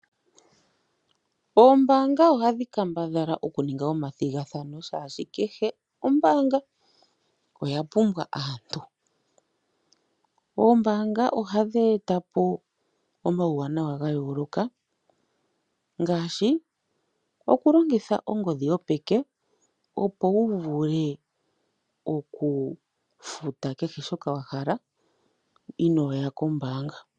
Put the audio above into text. Oombanga ohadhi kambadhala okuninga omathigathano shaashi kehe ombaanga oyapumbwa aantu. Oombanga ohadhi eta po omauwanawa ga yooloka ngaashi okulongitha ongodhi yopeke opo wu vule okufuta shoka wa hala inooya kombaanga.